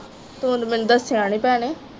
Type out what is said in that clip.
ਤੂੰ ਤੇ ਮੈਨੂੰ ਦਸਿਆ ਨਹੀਂ ਭੈਣੇ